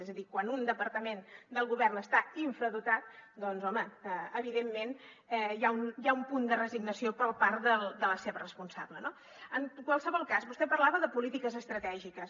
és a dir quan un departament del govern està infradotat doncs home evidentment hi ha un punt de resignació per part de la seva responsable no en qualsevol cas vostè parlava de polítiques estratègiques